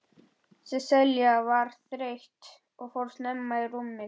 Sesselja var þreytt og fór snemma í rúmið.